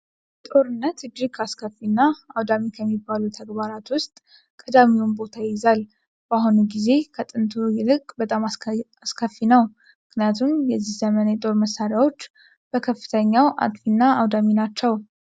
ጦርነት እጅግ አስከፊ እና አውዳሚ ከሚባሉ ተግባራት ውስጥ ዳሚውን ቦታ ይይዛል። በአሁኑ ጊዜ ከጥንቱ ይልቅ በጣም አስከፊ ነው። ምክንያቱም የዚህ ዘመን የጦር መሳሪያዎች በከፍተኛው አጥፊ እና አውዳሚ ናቸው።